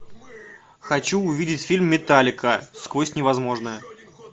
хочу увидеть фильм металлика сквозь невозможное